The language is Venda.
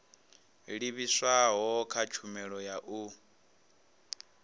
livhiswaho kha tshumelo ya u